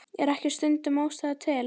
Er ekki stundum ástæða til?